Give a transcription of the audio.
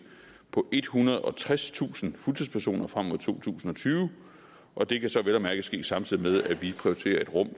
på ethundrede og tredstusind fuldtidspersoner frem mod to tusind og tyve og det kan så vel at mærke ske samtidig med at vi prioriterer et rum